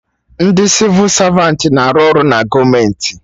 Ndị Sịvụ Savantị na-arụ ọrụ na gọọmenti